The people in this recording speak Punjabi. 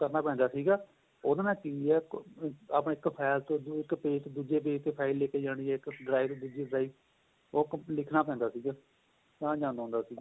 ਕਰਨਾ ਪੈਂਦਾ ਸੀਗਾ ਉਹਦੇ ਨਾਲ ਕਿ ਏ ਆਪਾਂ ਇੱਕ file ਚੋ ਇੱਕ page ਤੋ ਦੂਜੇ page ਤੋ file ਲੈਕੇ ਜਾਣੀ ਏ ਇੱਕ drive ਦੂਜੀ drive ਉਹ ਲਿਖਣਾ ਪੈਂਦਾ ਸੀਗਾ ਤਾਂ ਜਾਂਦਾ ਹੁੰਦਾ ਸੀ